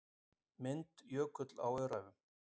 Mynd Jökull á Öræfum.